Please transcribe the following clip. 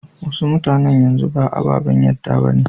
Wasu mutanan yanzu ba ababen yadda ba ne.